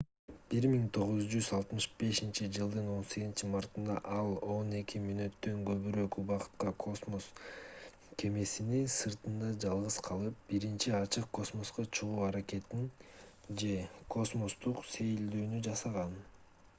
1965-жылдын 18-мартында ал он эки мүнөттөн көбүрөөк убакытка космос кемесини сыртында жалгыз калып биринчи ачык космоско чыгуу аракетин eva же космостук сейилдөөнү жасаган